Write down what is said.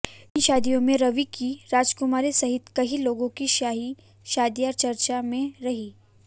इन शादियों में रीवा की राजकुमारी सहित कई लोगों की शाही शादियां चर्चा में रहीं